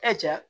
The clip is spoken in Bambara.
cɛ